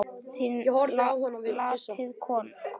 Látið kólna.